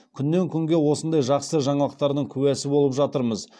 күннен күнге осындай жақсы жаңалықтардың куәсі болып жатырмыз